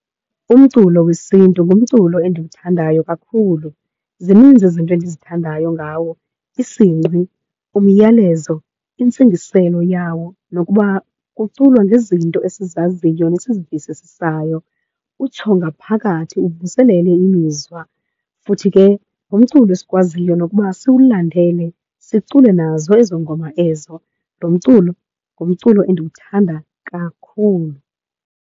Umculo wesiNtu ngumculo endiwuthandayo kakhulu. Zininzi izinto endizithandayo ngawo, isingqi, umyalezo, intsingiselo yawo nokuba kuculwa ngezinto esizaziyo nesizivisisisayo. Utsho ngaphakathi uvuselele imizwa, futhi ke ngumculo esikwaziyo nokuba siwulandele, sicule nazo ezo ngoma ezo. Lo mculo ngumculo endiwuthanda kakhulu.